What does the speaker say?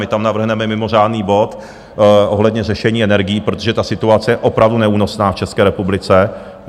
My tam navrhneme mimořádný bod ohledně řešení energií, protože ta situace je opravdu neúnosná v České republice.